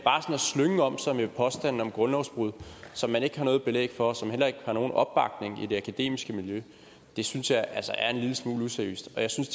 slynge om sig med påstande om grundlovsbrud som man ikke har noget belæg for og som heller ikke har nogen opbakning i det akademiske miljø synes jeg altså er en lille smule useriøst jeg synes